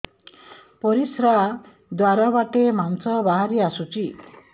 ପରିଶ୍ରା ଦ୍ୱାର ବାଟେ ମାଂସ ବାହାରି ଆସୁଛି